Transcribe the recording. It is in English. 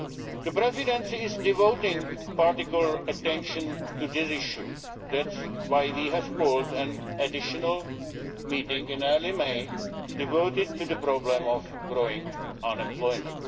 The Presidency is devoting particular attention to this issue, which is why we have called an additional meeting in early May on the problem of growing unemployment.